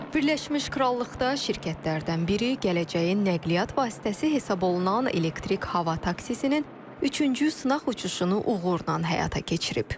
Birləşmiş Krallıqda şirkətlərdən biri gələcəyin nəqliyyat vasitəsi hesab olunan elektrik hava taksisinin üçüncü sınaq uçuşunu uğurla həyata keçirib.